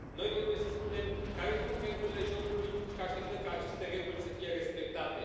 Noi trebuie să spunem care sunt regulile jocului și că așteptăm ca aceste reguli să fie respectate.